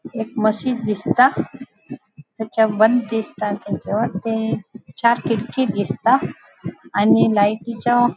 एक मशीन दिसता तेचे बॉन्ड दिसता ते चार खीड़की दिसता आणि लायटीच्या --